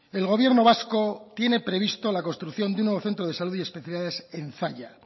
el gobierno vasco tiene previsto de un nuevo centro de salud y especialidades en zalla